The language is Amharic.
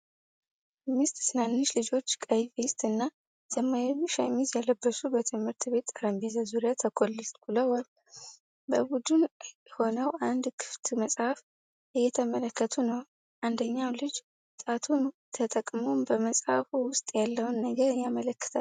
አምስት ትናንሽ ልጆች ቀይ ቬስት እና ሰማያዊ ሸሚዝ የለበሱ በትምህርት ቤት ጠረጴዛ ዙሪያ ተኮልኩለዋል። በቡድን ሆነው አንድ ክፍት መጽሐፍ እየተመለከቱ ነው፤ አንደኛው ልጅ ጣቱን ተጠቅሞ በመጽሐፉ ውስጥ ያለውን ነገር ያመለክታል።